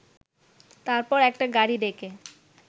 তারপর একটা গাড়ি ডেকে